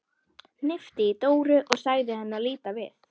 Hnippti í Dóru og sagði henni að líta við.